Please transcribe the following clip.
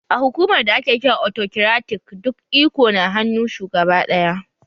A hukumar da ake kira autokiratik duk iko na hannu shugaba ɗaya